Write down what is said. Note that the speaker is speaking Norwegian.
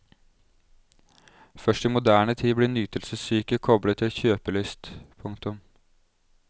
Først i moderne tid blir nytelsessyke koblet til kjøpelyst. punktum